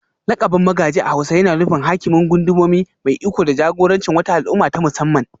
Lakabin Magaji a hausa yana nufin Hakimin Gundumomi, mai iko da jagorancin wata al'umma ta musamman